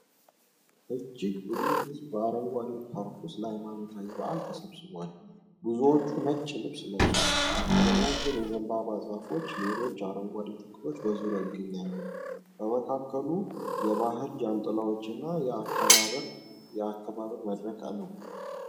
እጅግ ብዙ ሕዝብ በአረንጓዴ ፓርክ ውስጥ ለሃይማኖታዊ በዓል ተሰብስቧል። ብዙዎቹ ነጭ ልብስ ለብሰዋል። ረዣዥም የዘንባባ ዛፎችና ሌሎች አረንጓዴ ተክሎች በዙሪያው ይገኛሉ። በመካከሉ የባህል ጃንጥላዎችና የአከባበር መድረክ ነው።